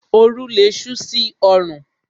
Oru lé sú sí orùn